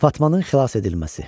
Fatmanın xilas edilməsi.